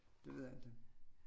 Det ved jeg ikke